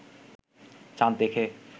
চাঁদ দেখে